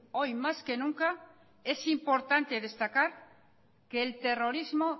hoy más que nunca es importante destacar que el terrorismo